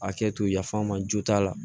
A kɛ to yaf'an ma jo t'a la